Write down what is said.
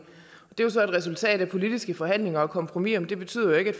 det er så et resultat af politiske forhandlinger og kompromiser men det betyder jo ikke at